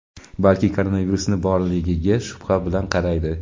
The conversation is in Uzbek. balki koronavirusni borligiga shubha bilan qaraydi.